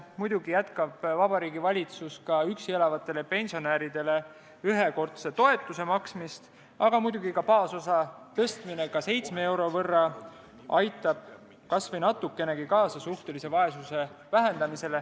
Muidugi jätkab Vabariigi Valitsus üksi elavatele pensionäridele ühekordse toetuse maksmist, aga baasosa tõstmine ka 7 euro võrra aitab kas või natukenegi kaasa suhtelise vaesuse vähendamisele.